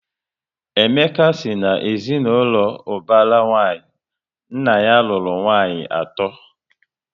Emeka si na ezinaụlọ ubara nwanyi, nna ya lụrụ nwanyị ato